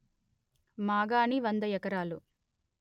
మాగాణి వంద ఎకరాలు